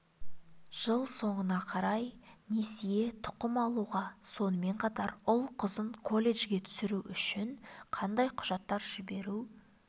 жыл соңына қарай несие тұқым алуға сонымен қатар ұл-қызын колледжге түсіру үшін қандай құжаттар жіберу